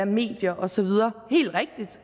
medier og så videre